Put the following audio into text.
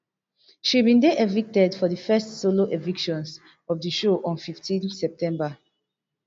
she bin dey evicted for di first solo evictions of di show on fifteen september